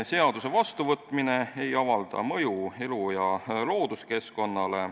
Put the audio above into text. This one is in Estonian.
Seaduse vastuvõtmine ei avalda mõju elu- ja looduskeskkonnale.